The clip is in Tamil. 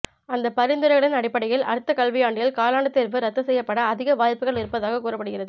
அந்த பரிந்துரைகளின் அடிப்படையில் அடுத்த கல்வியாண்டில் காலாண்டு தேர்வு ரத்து செய்யப்பட அதிக வாய்ப்புகள் இருப்பதாக கூறப்படுகிறது